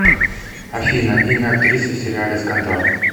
афина имя актрисы в сериале скандал